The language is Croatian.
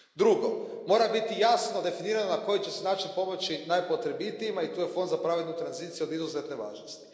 Drugo, mora biti jasno definirano na koji će se način pomoći najpotrebitijima i tu je Fond za pravednu tranziciju od izuzetne važnosti.